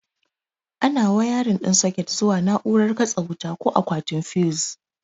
Ana wayarin ɗin soket zuwa na'urar katse wuta ko akwatin fiyus.